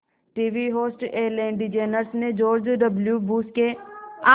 TV host Ellen DeGeneres ने George W Bush के